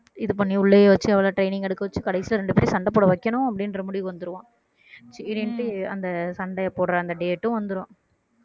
இது பண்ணி உள்ளேயே வச்சு அவள training எடுக்க வச்சு கடைசியில ரெண்டு பேரையும் சண்டை போட வைக்கணும் அப்படின்ற முடிவுக்கு வந்துருவான் அந்த சண்டையை போடுற அந்த date டும் வந்துரும்